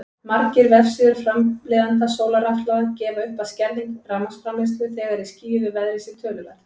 Margir vefsíður framleiðenda sólarrafhlaða gefa upp að skerðing rafmagnsframleiðslu þegar í skýjuðu veðri sé töluverð.